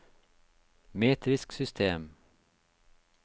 metrisk system